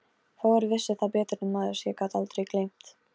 Fáir vissu það betur en maður sem gat aldrei gleymt.